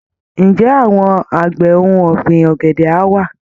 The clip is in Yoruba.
Ǹjẹ́ àwọn àgbẹ̀ ohun ọ̀gbìn ọ̀gẹ̀dẹ̀ á wá?